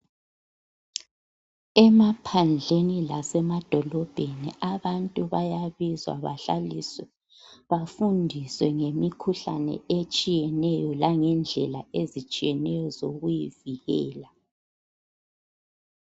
Emaphandleni lasemadolobheni, abantu bayabizwa bahlaliswe. Bafundiswe ngemikhuhlane etshiyeneyo, Langendlela ezitshiyeneyo, zokuyivikela.